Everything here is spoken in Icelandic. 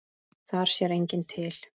Þar sér enginn til.